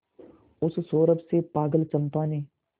उस सौरभ से पागल चंपा ने